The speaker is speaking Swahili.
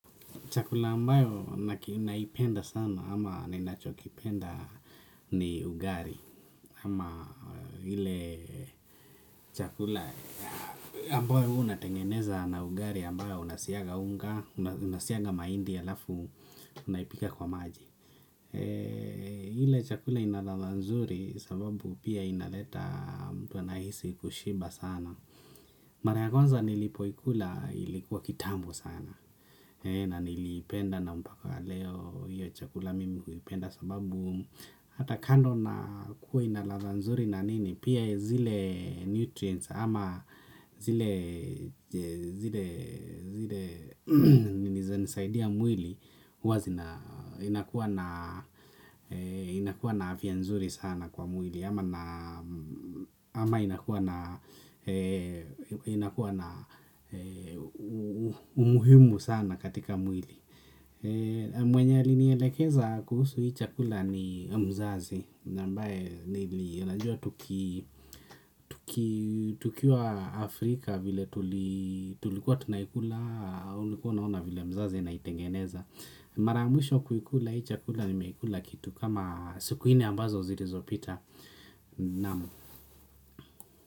Chakula ambayo naipenda sana ama ninachokipenda ni ugali amahile chakula ambayo unatengeneza na ugali ambayo unasiaga unga, unasiaga mahindi halafu unaipika kwa maji. Ile chakula ina ladha nzuri sababu pia inaleta mtu anahisi kushiba sana maray a kwanza nilipoikula ilikuwa kitambo sana na nilipenda na mpaka leo hiyo chakula mimi huipenda sababu hata kando na kuwa inaladha nzuri na nini pia zile nutrients ama zile zile zile zinanisaidia mwili huwa inakuwa na afya nzuri sana kwa mwili ama inakuwa na umuhimu sana katika mwili mwenye alinielekeza kuhusu hii chakula ni mzazi na ambaye nilijua tukiwa Afrika vile tulikuwa tunaikula ulikuwa unaona vile mzazi anaitengeneza mara ya mwisho kuikula hii chakula nimeikula kitu kama siku nne ambazo zilizo pita naam.